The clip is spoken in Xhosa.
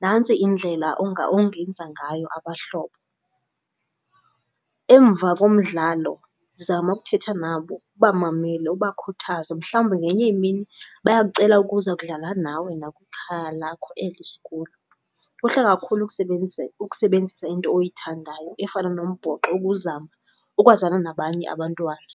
nantsi indlela onga ongenza ngayo abahlobo. Emva komdlalo zama ukuthetha nabo, ubamamele, ubakhuthaze mhlawumbi ngenye imini baya kucela ukuza kudlala nawe nakwikhaya lakho eli sikulo. Kuhle kakhulu ukusebenzisa into oyithandayo efana nombhoxo ukuzama ukwazana nabanye abantwana.